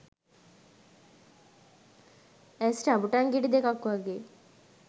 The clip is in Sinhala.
ඇස් රඹුටන් ගෙඩි දෙකක් වගේ